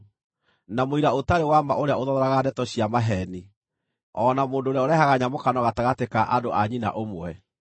na mũira ũtarĩ wa ma ũrĩa ũthothoraga ndeto cia maheeni, o na mũndũ ũrĩa ũrehaga nyamũkano gatagatĩ ka andũ a nyina ũmwe.